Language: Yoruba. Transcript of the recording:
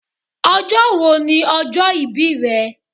Ọjọ́ wo ni ọjọ́ ìbí rẹ?